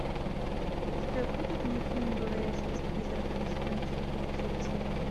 у тебя будет мультфильм говорящая с призраками сезон четыре эпизод семь